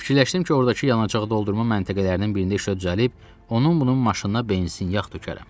Fikirləşdim ki, ordakı yanacaq doldurma məntəqələrinin birində işə düzəlib, onun bunun maşınına benzin, yağ tökərəm.